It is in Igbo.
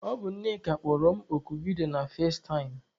Ọ bụ Nneka kpọrọ m oku vidiyo na fazetaịm.